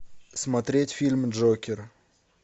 смотреть фильм джокер